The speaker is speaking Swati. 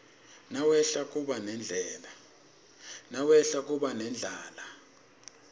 nawehla kuba nendlala